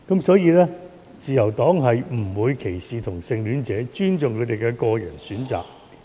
當然，自由黨不會歧視同性戀者，會尊重他們的個人選擇。